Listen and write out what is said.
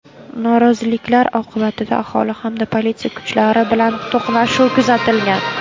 Noroziliklar oqibatida aholi hamda politsiya kuchlari bilan to‘qnashuv kuzatilgan.